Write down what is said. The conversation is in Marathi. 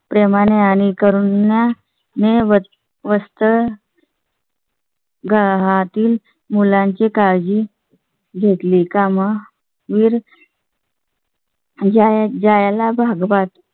प्रेमाने आणि करून मिळत असतं . राहातील मुलांची काळजी घेतली का मग ? जाय ला भागवत.